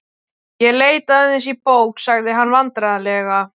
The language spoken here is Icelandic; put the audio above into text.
Ég leit aðeins í bók. sagði hann vandræðalega.